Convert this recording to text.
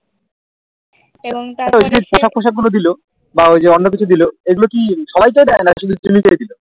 আচ্ছা ঐযে পোশাক আশাক গুলো দিলো বা ঐযে অন্যকিছু দিলো এগুলো কি সবাই কেই দেয় না কি জিম্মি কেই দিলো